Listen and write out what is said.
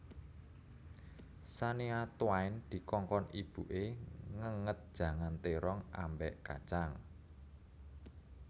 Shania Twain dikongkon ibu e ngenget jangan terong ambek kacang